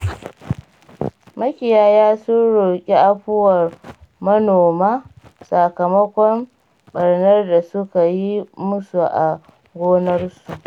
Makiyaya sun roƙi afuwar manoma, sakamakon ɓarnar da suka yi musu a gonakinsu.